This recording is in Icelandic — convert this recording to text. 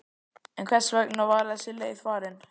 En hvers vegna var þessi leið farin?